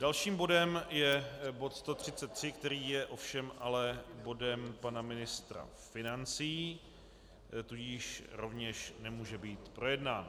Dalším bodem je bod 133, který je ovšem ale bodem pana ministra financí, tudíž rovněž nemůže být projednán.